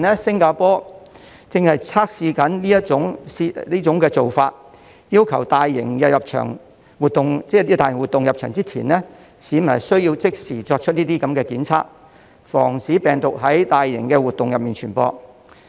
新加坡正在測試這種做法，要求參加大型活動的市民，在入場前要即時檢測，防止病毒在大型活動中傳播。